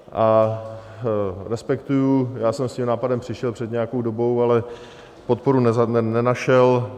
A respektuji, já jsem s tím nápadem přišel před nějakou dobou, ale podporu nenašel.